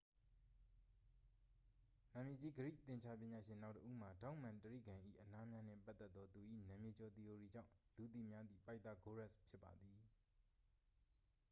နာမည်ကြီး ဂရိ သင်္ချာပညာရှင်နောက်တစ်ဦးမှာ ထောင့်မှန်တြိဂံ၏ အနားများနှင့် ပတ်သက်သော သူ၏ နာမည်ကျော် သီအိုရီကြောင့် လူသိများသည့် ပိုက်သာဂိုးရပ်စ် ဖြစ်ပါသည်